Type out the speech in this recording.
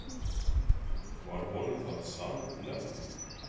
Var honum það sannnefni.